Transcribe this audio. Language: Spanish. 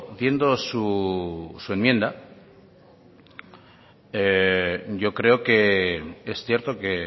viendo su enmienda yo creo que es cierto que